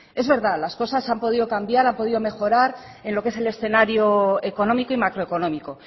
es verdad las cosas han podido cambiar han podido mejorar en lo que es el escenario económico y macroeconómico